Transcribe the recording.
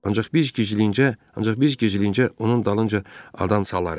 Ancaq biz gizlincə, onun dalınca adam salarıq.